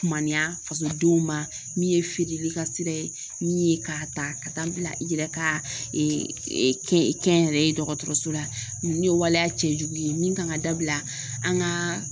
Kumaniya faso denw ma min ye feereli ka sira ye min ye k'a ta ka taa bila i yɛrɛ ka kɛnyɛrɛye dɔgɔtɔrɔso la ninnu ye waleya cɛjugu ye min kan ka dabila an ka